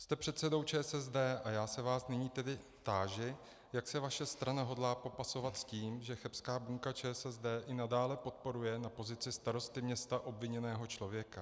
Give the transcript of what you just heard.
Jste předsedou ČSSD a já se vás nyní tedy táži, jak se vaše strana hodlá popasovat s tím, že chebská buňka ČSSD i nadále podporuje na pozici starosty města obviněného člověka.